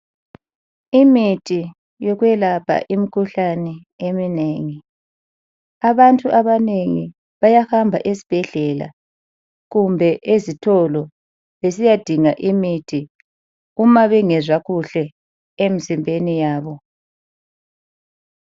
Imithi yokwelapha imikhuhlane eminengi. Abantu abanengi bayahamba ezibhedlela kumbe ezitolo besiyadinga imithi uma bengezwa kuhle emizimbeni yabo.